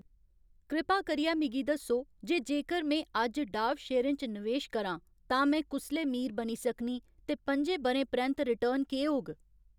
कृपा करियै मिगी दस्सो जे जेकर में अज्ज डाव शेयरें च नवेश करां तां में कुसलै मीर बनी सकनीं ते पं'जें ब'रें परैंत्त रिटर्न केह् होग